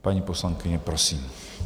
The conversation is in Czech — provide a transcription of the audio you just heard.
Paní poslankyně, prosím.